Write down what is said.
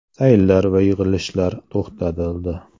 Sayillar va yig‘ilishlar to‘xtatildi.